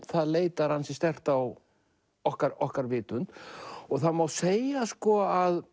það leitar ansi sterkt á okkar okkar vitund það má segja að